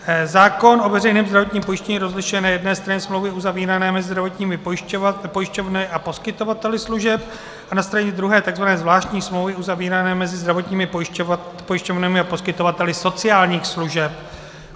Zákon o veřejném zdravotním pojištění rozlišuje na jedné straně smlouvy uzavírané mezi zdravotními pojišťovnami a poskytovateli služeb a na straně druhé tzv. zvláštní smlouvy uzavírané mezi zdravotními pojišťovnami a poskytovateli sociálních služeb.